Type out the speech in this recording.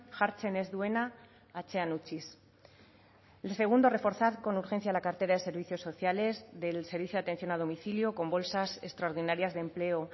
jartzen ez duena atzean utziz el segundo reforzar con urgencia la cartera de servicios sociales del servicio de atención a domicilio con bolsas extraordinarias de empleo